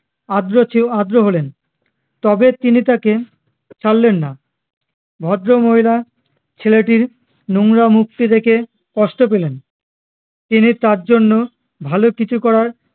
আদ্র চেও আদ্র হলেন তবে তিনি তাকে ছাড়লেন না ভদ্রমহিলা ছেলেটির নোংরা মুখটি দেখে কষ্ট পেলেন তিনি তার জন্য ভালো কিছু করার